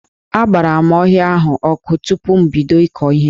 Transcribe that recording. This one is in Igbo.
Agbara m ọhịa ahụ ọkụ tupu m bido ịkọ ihe.